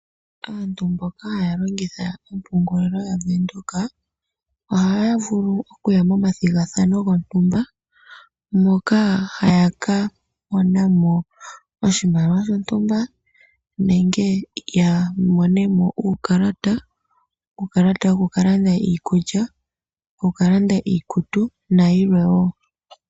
Aantu mboka haya longitha ompungulilo ya Venduka, oha ya vulu oku ya momathigathano gontumba, moka haya ka monamo oshimaliwa shontumba, nenge ya monemo uukalata, uukalata woku ka landa iikulya, woku ka landa iikutu nayilwe wo.